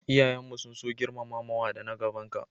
iyayen mu sun so girmamawa da na gaban ka